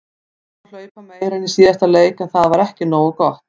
Við reyndum að hlaupa meira en í síðasta leik en það var ekki nógu gott.